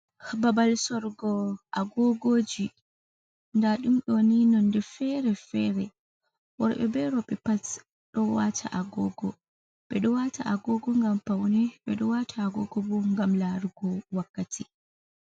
Babal sorugo agogoji. Nda ɗum ni nonde fere-fere worɓe ɓe roɓe pat dowata agogo. Ɓeɗo wata agogo ngam paune, ɓeɗo wata agogo bo ngam larugo wakkati.